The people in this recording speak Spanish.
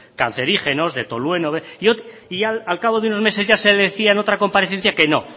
cancerígenos de tolueno y al cabo de unos meses ya se decía en otra comparecencia que no